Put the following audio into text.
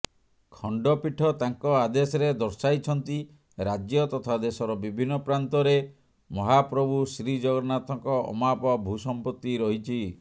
ଖଣ୍ଡପୀଠ ତାଙ୍କ ଆଦେଶରେ ଦର୍ଶାଇଛନ୍ତି ରାଜ୍ୟ ତଥା ଦେଶର ବିଭିନ୍ନ ପ୍ରାନ୍ତରେ ମହାପ୍ରଭୁ ଶ୍ରୀଜଗନ୍ନାଥଙ୍କ ଅମାପ ଭୂସମ୍ପତ୍ତି ରହିଛି